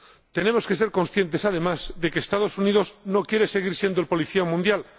Tenemos que ser conscientes, además, de que los Estados Unidos no quieren seguir siendo el policía mundial.